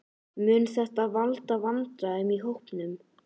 Mun þetta valda vandræðum í hópnum?